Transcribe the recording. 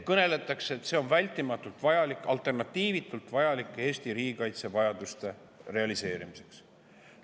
Kõneldakse, et see on vältimatult vajalik, alternatiivitult vajalik Eesti riigikaitse vajaduste realiseerimiseks.